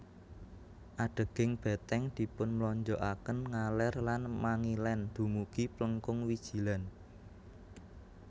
Adeging beteng dipun mlonjokaken ngaler lan mangilen dumugi Plengkung Wijilan